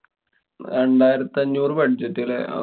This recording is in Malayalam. രണ്ടായിരത്തി അഞ്ഞൂറു budget ല്ലേ?